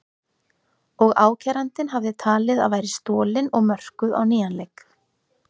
og ákærandinn hafði talið að væri stolin og mörkuð á nýjan leik.